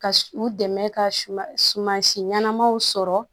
Ka u dɛmɛ ka suma si ɲɛnamaw sɔrɔ